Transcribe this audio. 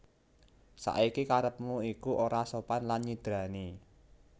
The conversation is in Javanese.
Saiki karepmu iku ora sopan lan nyidrani